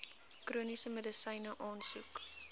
chroniese medisyne aansoek